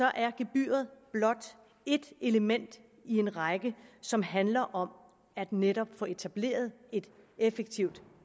er gebyret blot ét element i en række som handler om netop at få etableret et effektivt